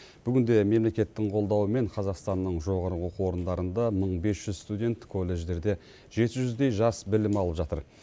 бүгінде мемлекеттің қолдауымен қазақстанның жоғары оқу орындарында мың бес жүз студент колледждерде жеті жүздей жас білім алып жатыр